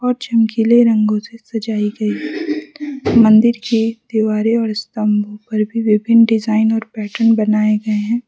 और चमकीले रंगों से सजाई गई मंदिर के दीवारें और स्तंभ पर भी विभिन्न डिजाइन और पैटर्न बनाए गए हैं।